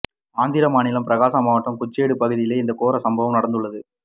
ஆந்திர மாநிலம் பிரகாசம் மாவட்டம் குறிச்சேடு பகுதியிலே இந்த கோர சம்பவம் நடந்துள்ளது